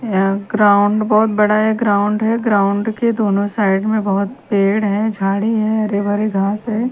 यहां ग्राउंड बहुत बड़ा है ग्राउंड है ग्राउंड के दोनों साइड में बहोत पेड़ है झड़ी है हरे भरे घास है।